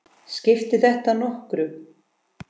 Skiptir þetta nokkru?